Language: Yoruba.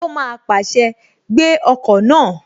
Ó má pàṣẹ, "Gbé ọkọ̀ náà!"